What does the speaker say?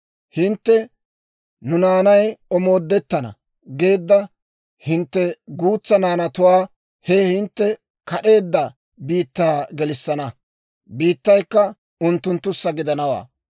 Hintte, «Nu naanay omoodettana» geedda hintte guutsaa naanatuwaa he hintte kad'eedda biittaa gelissana; biittaykka unttunttussa gidanawaa.